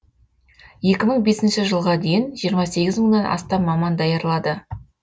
екі мың бесінші жылға дейін жиырма сегіз мыңнан астам маман даярлады